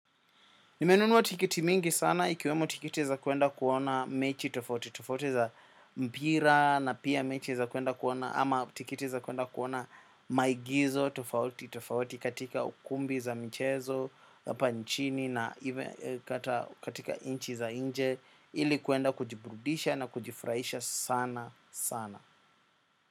Nimenunua tiketi mingi sana ikiwemo tiketi za kwenda kuona mechi tofauti, tofauti za mpira na pia mechi za kwenda kuona ama tiketi za kwenda kuona maigizo tofauti, tofauti katika ukumbi za mchezo, hapa nchini na ime kata katika nchi za nje ili kwenda kujiburudisha na kujifurahisha sana sana.